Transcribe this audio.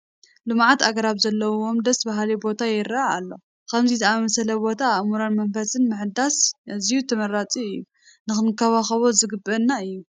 ልሙዓት ኣግራብ ዘለውዎ ደስ በሃሊ ቦታ ይርአ ኣሎ፡፡ ከምዚ ዝኣምሰለ ቦታ ኣእምሮን መንፈስን ንምሕዳስ ኣዝዩ ተመራፂ እዩ፡፡ ክንንከባኸቦ ዝግብአና እዩ፡፡